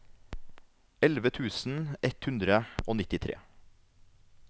elleve tusen ett hundre og nittitre